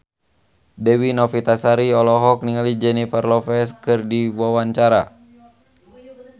Dewi Novitasari olohok ningali Jennifer Lopez keur diwawancara